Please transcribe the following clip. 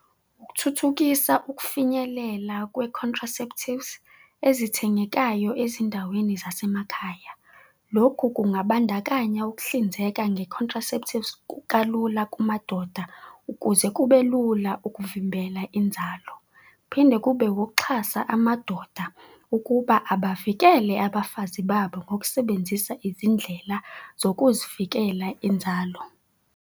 Ukuthuthukisa ukufinyelela kwe-contraceptives ezithengekayo ezindaweni zasemakhaya. Lokhu kungabandakanya ukuhlinzeka nge-contraceptives kalula kumadoda ukuze kubelula ukuvimbela inzalo. Kuphinde kube ukuxhasa amadoda ukuba abavikele abafazi babo ngokusebenzisa izindlela zokuzivikela inzalo.